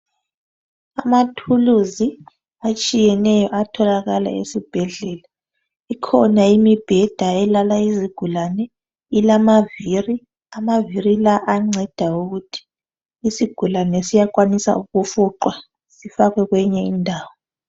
Amathuluzi atshiyeneyo atholakala esibhedlela. Ikhona imibheda elala izigulane, ilamavili, amavili la ayanceda ukuthi isigulane siyakwanisa ukufuqwa sifakwe kweyinye indawo.